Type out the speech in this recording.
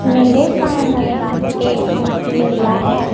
मेरे सामने एक मेला है।